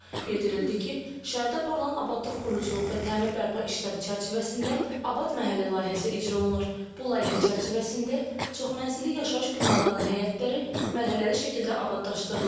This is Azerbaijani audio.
Bildirildi ki, şəhərdə aparılan abadlıq, quruculuq və təmir bərpa işləri çərçivəsində Abad Məhəllə layihəsi icra olunur. Bu layihə çərçivəsində çoxmənzilli yaşayış binalarının həyətləri mərhələli şəkildə abadlaşdırılır.